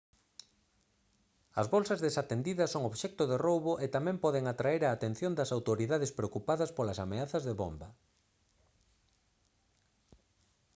as bolsas desatendidas son obxecto de roubo e tamén poden atraer a atención das autoridades preocupadas polas ameazas de bomba